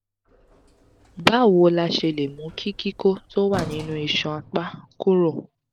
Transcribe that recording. báwo la ṣe lè mú kí koko tó wà nínú isan apá kúrò?